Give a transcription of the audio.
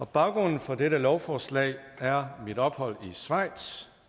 baggrunden for dette lovforslag er mit ophold i schweiz